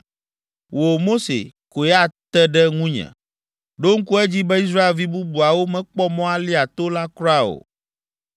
Wò, Mose, koe ate ɖe ŋunye. Ɖo ŋku edzi be Israelvi bubuawo mekpɔ mɔ alia to la kura o.”